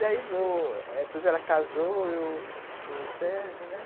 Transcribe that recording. Daí, depois ela casou, eu, o Sérgio, né.